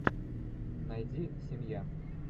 найди семья